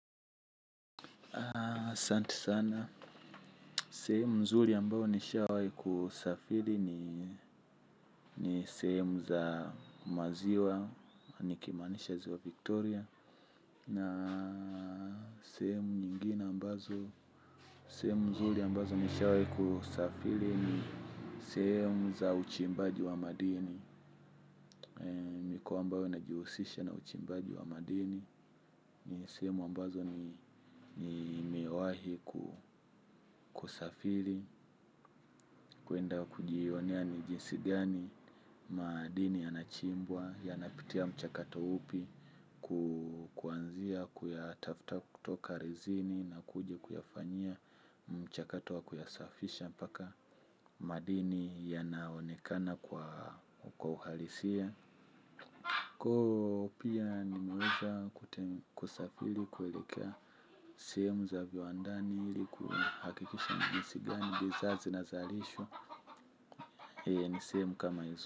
Asanti sana, sehemu mzuri ambao nishawai kusafiri ni ni sehemu za maziwa, nikimaanisha ziwa Victoria. Na sehemu nyingine ambazo, sehemu mzuri ambazo nishawai kusafiri ni sehemu za uchimbaji wa madini. Mikoa ambayo inajihusisha na uchimbaji wa madini ni sehemu ambazo nimewahi kusafiri. Kuenda kujionea ni jinsi gani madini yanachimbwa. Yanapitia mchakato upi. Kuanzia kuyatafta kutoka rezini na kuja kuyafanyia mchakato wa kuyasafisha mpaka madini yanaonekana kwa uhalisia Koo pia nimeweza kusafiri. Kuelekea sehemu za viwandani ili kuhakikisha ni jinsi gani bidhaa zinazalishwa ni sehemu kama izo.